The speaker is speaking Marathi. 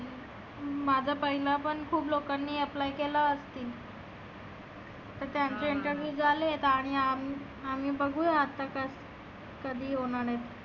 माझ्या पहिला पण खुप लोकांनी apply केलं असतील. त्यांचे निघाले आणि आम आम्ही बघु आता कस कधी होणार आहे.